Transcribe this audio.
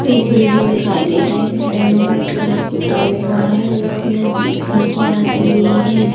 एक बिल्डिंग दिखाई दे रहा है बिल्डिंग में वाइट कलर पुता हुआ है उसमे खिड़कियां लगी हुई है।